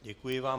Děkuji vám.